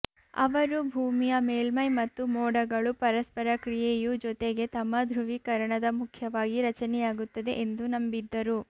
ಅವರು ಭೂಮಿಯ ಮೇಲ್ಮೈ ಮತ್ತು ಮೋಡಗಳು ಪರಸ್ಪರ ಕ್ರಿಯೆಯು ಜೊತೆಗೆ ತಮ್ಮ ಧ್ರುವೀಕರಣದ ಮುಖ್ಯವಾಗಿ ರಚನೆಯಾಗುತ್ತದೆ ಎಂದು ನಂಬಿದ್ದರು